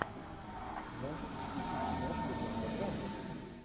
можешь включить киношку жанра драма